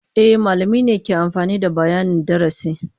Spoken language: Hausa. E, malamai ne ke amfani da bayanin darasi.